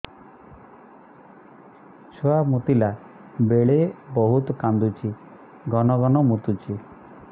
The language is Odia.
ଛୁଆ ମୁତିଲା ବେଳେ ବହୁତ କାନ୍ଦୁଛି ଘନ ଘନ ମୁତୁଛି